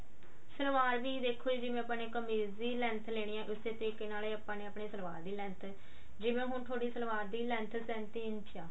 self R ਵੀ ਦੇਖੋ ਜਿਵੇਂ ਆਪਾਂ ਨੇ ਕਮੀਜ਼ ਦੀ length ਲੈਣੀ ਏ ਉਸੇ ਤਰੀਕੇ ਨਾਲ ਈ ਆਪਾਂ ਨੇ ਆਪਣੇ ਸਲਵਾਰ ਦੀ length ਜਿਵੇਂ ਹੁਣ ਥੋਡੀ ਸਲਵਾਰ ਦੀ length ਸੇੰਤੀ ਇੰਚ ਆ